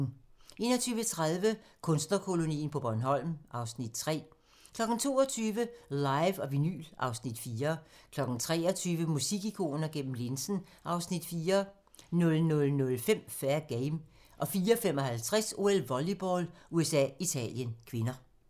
21:30: Kunstnerkolonien på Bornholm (Afs. 3) 22:00: Live & vinyl (Afs. 4) 23:00: Musikikoner gennem linsen (Afs. 4) 00:05: Fair Game 04:55: OL: Volleyball - USA-Italien (k)